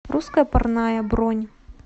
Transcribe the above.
русская парная бронь